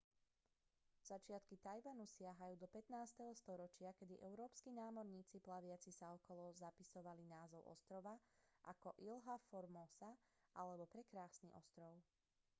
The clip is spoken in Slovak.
začiatky taiwanu siahajú do 15. storočia kedy európski námorníci plaviaci sa okolo zapisovali názov ostrova ako ilha formosa alebo prekrásny ostrov